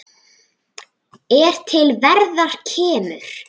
er til verðar kemur